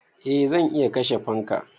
Eh zan iya kashe fanka.